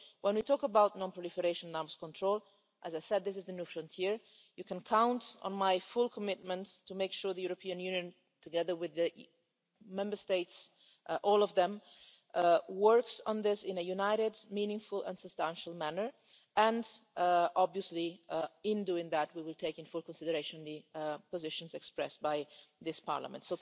So when we talk about non-proliferation and arms control as I said this is the new frontier you can count on my full commitment to make sure the European Union, together with the Member States, all of them, works on this in a united, meaningful and substantial manner and, obviously, in doing that we will take into full consideration the positions expressed by this Parliament.